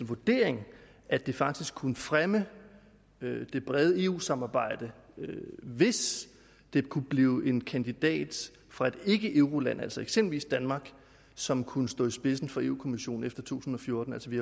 vurdering at det faktisk kunne fremme det brede eu samarbejde hvis det kunne blive en kandidat fra et ikkeeuroland altså eksempelvis danmark som kunne stå i spidsen for europa kommissionen efter 2014 altså vi